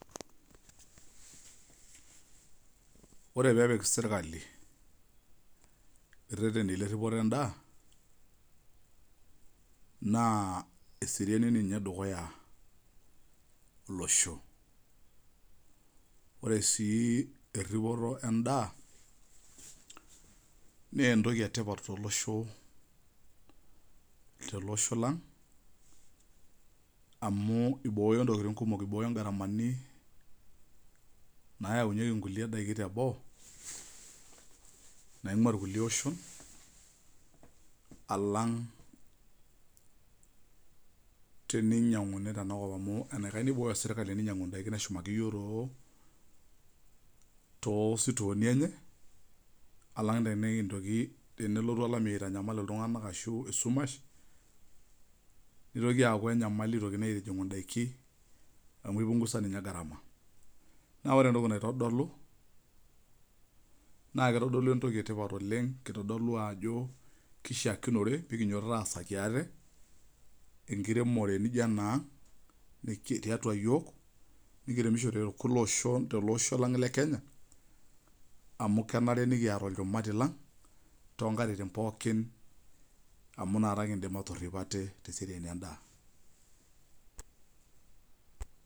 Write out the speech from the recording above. Ore pepik serkali irereteni leripito endaa na eseriani edukuya olosho ore sii eripoto endaa na entoki entoki etipat tenkop aang amu iboyo ntokitin kumol amu ibooyo ntokitin kumok naingua rkulie oshon alang teninyanguni tenakop amu enikasha eninyangu serkali neshumaki yiok tositooni enye alang tenelotu olameyu aitanyamal ltunganak ashu esumash nitoki aaku enyamali amu kipunguza ninye garama na ore entoki naitodolu na kitadolu entoki etipat oleng pekiasakibaate enkiremore nijo enaang.